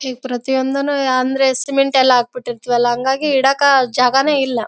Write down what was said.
ಈ ಪ್ರತಿಯೊಂದುನು ಅಂದ್ರೆ ಸಿಮೆಂಟ್ ಎಲ್ಲಾ ಹಾಕಿಬಿಟ್ಟಿರ್ತ್ತೀವಲ್ಲಾ ಹಂಗಾಗಿ ಇಡಕ್ ಜಾಗನೇ ಇಲ್ಲಾ.